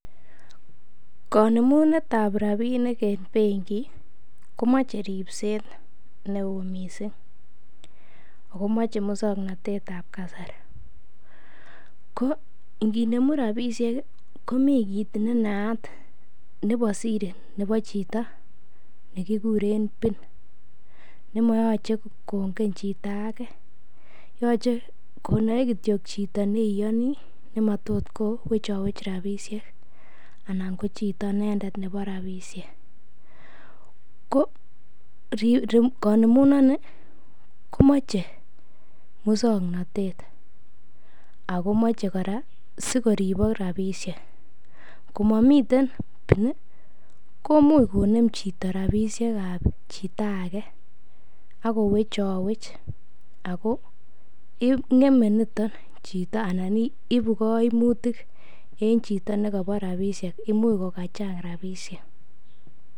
konemunet ab rabinik en bengi komoche ribseet neoo mising, ago moche muswoknotetab kasari, ko inginemu rabishek iih komii kiit nenaat nebo siri nebo chito negigureen pin nemoyoche kongen chito age yoche konoe kityo chito neiyonii nematot kowechowech rabishek anan ko chito inendet nebo rabishek, ko konemunon nii komoche muswoknotet ago moche koraa sigoribok rabishek, komomiten pin komuuch koneem chito rabishek ab chito age agowechowech ago ngeme nito chito anan ibu koimutik en chito negobo rabishek imuch kogachang rabishek,